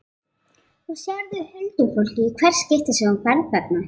Og sérðu huldufólkið í hvert skipti sem þú ferð þarna?